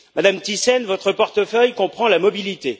Madame Thyssen, votre portefeuille comprend la mobilité.